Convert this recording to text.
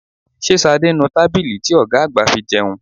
Ṣé Ṣadé ń nu tábìlì ti ọ̀gá àgbà fi jẹun?